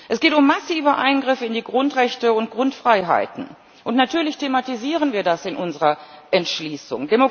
Es geht um massive Eingriffe in die Grundrechte und Grundfreiheiten, und natürlich thematisieren wir das in unserer Entschließung.